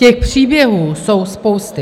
Těch příběhů jsou spousty.